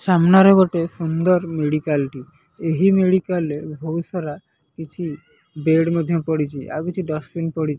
ସାମ୍ନାରେ ଗୋଟେ ସୁନ୍ଦର ମେଡ଼ିକାଲ ଟି। ଏହି ମେଡ଼ିକାଲ ରେ ବୋହୁତ ସାରା କିଛି ବେଡ୍ ମଧ୍ଯ ପଡ଼ିଚି। ଆଉ କିଛି ଡସବିନ ପଡି଼ --